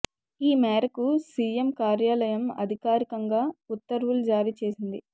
ఈ మేరకు సీఎం కార్యాలయం అధికారికంగా ఉత్తర్వులు జారీ చేసింది